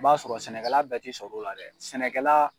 i b'a sɔrɔ sɛnɛkɛla bɛɛ te sɔr'o la dɛ, sɛnɛkɛla